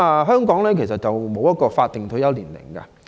香港並無法定退休年齡。